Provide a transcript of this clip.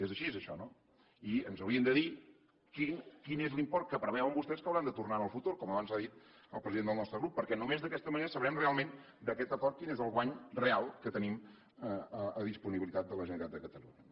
és així això no i ens haurien de dir quin és l’import que preveuen vostès que hauran de tornar en el futur com abans ha dit el president del nostre grup perquè només d’aquesta manera sabrem realment d’aquest acord quin és el guany real que tenim a disponibilitat de la generalitat de catalunya